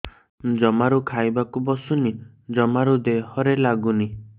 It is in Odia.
ଜମାରୁ ଖାଇବାକୁ ବସୁନି ଜମାରୁ ଦେହରେ ଲାଗୁନି